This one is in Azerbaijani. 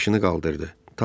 Başını qaldırdı.